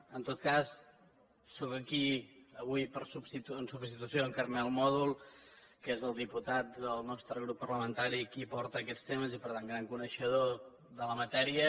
en tot cas sóc aquí avui en substitució d’en carmel mòdol que és el diputat del nostre grup parlamentari que porta aquests temes i per tant gran coneixedor de la matèria